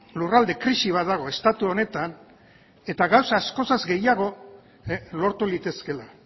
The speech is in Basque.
lurralde krisi bat dago estatu honetan eta gauza askoz gehiago lortu litezkeela